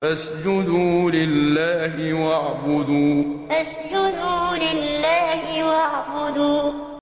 فَاسْجُدُوا لِلَّهِ وَاعْبُدُوا ۩ فَاسْجُدُوا لِلَّهِ وَاعْبُدُوا ۩